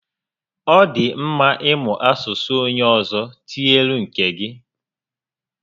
Ọ dị mma ị mụ asụsụ onyé ọzọ tinyere nke gị